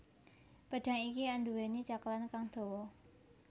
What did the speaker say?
Pedhang iki anduweni cekelan kang dawa